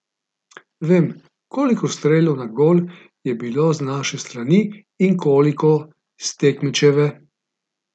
Vemo, koliko strelov na gol je bilo z naše strani in koliko s tekmečeve.